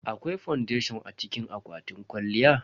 Akwai fondation a cikin akwatin kwalliya.